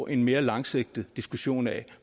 en mere langsigtet diskussion af